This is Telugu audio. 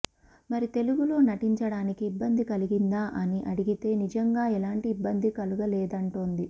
మరి తెలుగులో నటించడానికి ఇబ్బంది కలిగిందా అని అడిగితే నిజంగా ఎలాంటి ఇబ్బంది కలుగలేదంటోంది